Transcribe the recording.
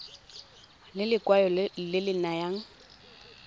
ke lekwalo le le nayang